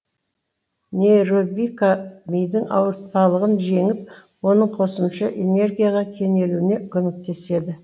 нейробика мидың ауыртпалығын жеңіп оның қосымша энергияға кенелуіне көмектеседі